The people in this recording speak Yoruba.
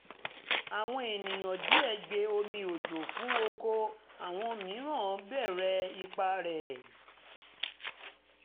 àwọn ènìyàn díẹ̀ gbe omi òjò fún oko àwọn mìíràn béèrè ipa rẹ̀